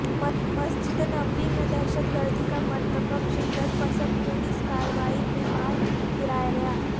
مسجد نبوی میں دہشت گردی کا مرتکب شدت پسند پولیس کارروائی میں مار گرایا گیا